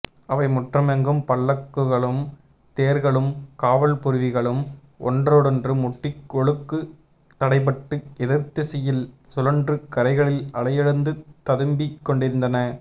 அவைமுற்றமெங்கும் பல்லக்குகளும் தேர்களும் காவல்புரவிகளும் ஒன்றோடொன்று முட்டி ஒழுக்கு தடைபட்டு எதிர்த்திசையில் சுழன்று கரைகளில் அலையெழுந்து ததும்பிக்கொண்டிருந்தன